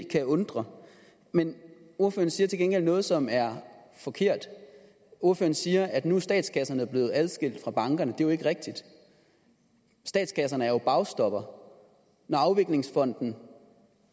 kan undre men ordføreren siger til gengæld noget som er forkert ordføreren siger at nu er statskasserne blevet adskilt fra bankerne er jo ikke rigtigt statskasserne er jo bagstoppere når afviklingsfonden